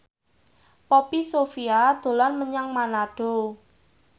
Poppy Sovia dolan menyang Manado